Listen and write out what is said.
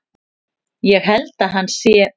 Ég held að hann sé.